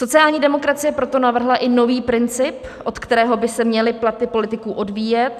Sociální demokracie proto navrhla i nový princip, od kterého by se měly platy politiků odvíjet.